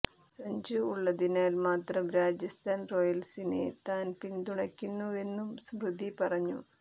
സഞ്ജു ഉള്ളതിനാൽ മാത്രം രാജസ്ഥാൻ റോയൽസിനെ താൻ പിന്തുണക്കുന്നുവെന്നും സ്മൃതി പറഞ്ഞു